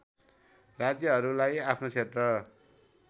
राज्यहरूलाई आफ्नो क्षेत्र